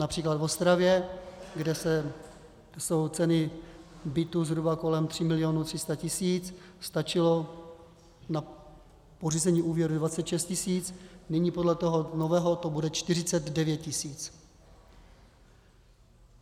Například v Ostravě, kde jsou ceny bytů zhruba kolem 3 milionů 300 tisíc, stačilo na pořízení úvěru 26 tisíc, nyní podle toho nového to bude 49 tisíc.